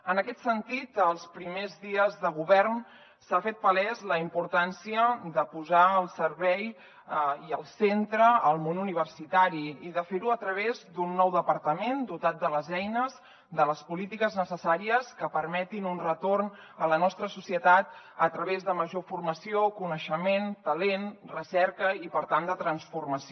en aquest sentit els primers dies de govern s’ha fet palesa la importància de posar al servei i al centre el món universitari i de fer ho a través d’un nou departament dotat de les eines de les polítiques necessàries que permetin un retorn a la nostra societat a través de major formació coneixement talent recerca i per tant de transformació